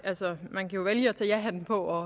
og